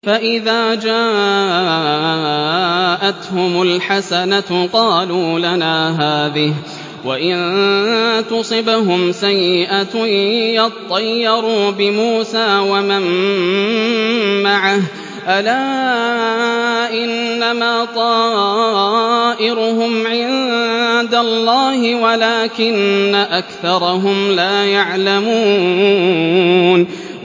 فَإِذَا جَاءَتْهُمُ الْحَسَنَةُ قَالُوا لَنَا هَٰذِهِ ۖ وَإِن تُصِبْهُمْ سَيِّئَةٌ يَطَّيَّرُوا بِمُوسَىٰ وَمَن مَّعَهُ ۗ أَلَا إِنَّمَا طَائِرُهُمْ عِندَ اللَّهِ وَلَٰكِنَّ أَكْثَرَهُمْ لَا يَعْلَمُونَ